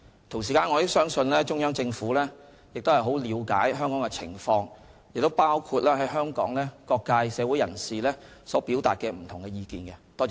同時，我亦相信中央政府很了解香港的情況，包括香港社會各界人士所表達的不同意見。